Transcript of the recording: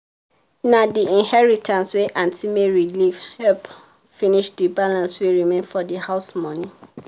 na the inheritance wey aunty mary leave help finish the balance wey remain for the house money.